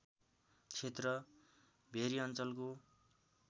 क्षेत्र भेरी अञ्चलको